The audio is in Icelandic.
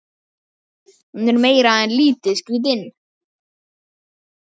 Hún er meira en lítið skrítin.